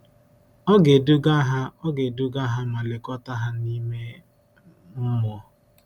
Ọ ga-eduga ha Ọ ga-eduga ha ma lekọta ha n’ime mmụọ.